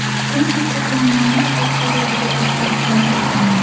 Kuni kecha jamoamiz rahbariyatida o‘zgarishlar bo‘ldi.